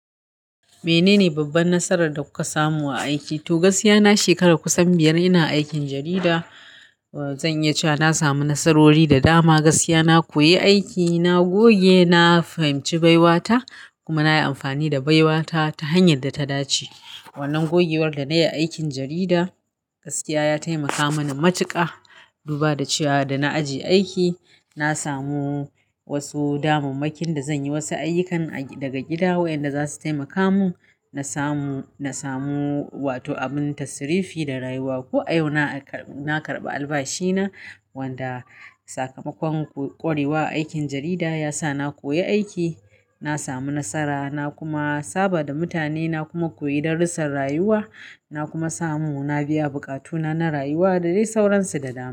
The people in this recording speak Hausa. Menene babban nasarar da kuka samu a aiki? To, gaskiya na shekara kusan biyar ina aikin jarida. Zan iya cewa na sami nasarori da dama. Gaskiya na koyi aiki, na goge, na fahimci baiwata kuma na yi amfani da baiwata ta hanyar da ta dace. Wannan gogewar da na yi a aikin jarida gaskiya ya taimaka mani matuƙa. Duba da cewa da na ajiye aiki, na samu wasu damammakin da zan yi wasu ayyukan daga gida waɗanda za su taimaka mun. Na samu, na samu, wato abun tasrifi da rayuwa. Ko a yau na karɓa albashi na wanda sakamakon ƙwarewa a aikin jarida ya sa na koyi aiki, na samu nasara na kuma saba da mutane, na kuma koyi darussan rayuwa. Na kuma samu na biya buƙatuna na rayuwa da dai sauransu da dama.